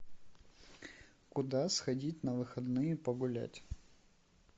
куда сходить на выходные погулять